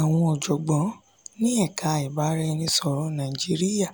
àwọn ọ̀jọ̀gbọ́n ni èka ibaraėnisọ̀rọ naijiriya